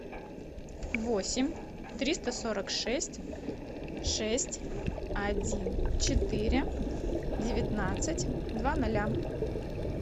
восемь триста сорок шесть шесть один четыре девятнадцать два ноля